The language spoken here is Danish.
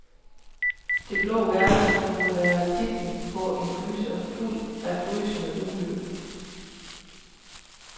Det blå værelse kunne være titlen på en gyser fuld af frysende uhygge.